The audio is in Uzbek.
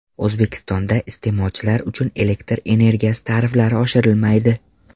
O‘zbekistonda iste’molchilar uchun elektr energiyasi tariflari oshirilmaydi.